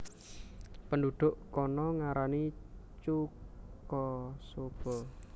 Penduduk kana ngarani chuka soba